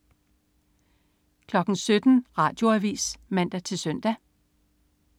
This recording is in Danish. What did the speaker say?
17.00 Radioavis (man-søn)